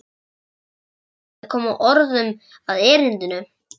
Það var svo erfitt að koma orðum að erindinu.